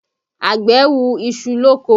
Àgbẹ̀ hu iṣu lóko